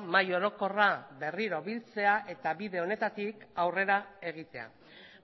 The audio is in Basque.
mahai orokorra berriro biltzea eta bide honetatik aurrera egitea